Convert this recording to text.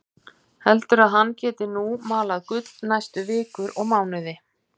Heldur að hann geti nú malað gull næstu vikur og mánuði.